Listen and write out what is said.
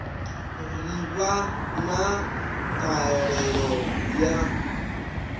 ḓi vha na ṱhahelelo ya